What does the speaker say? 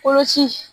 Koloci